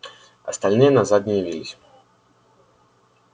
остальные назад не явились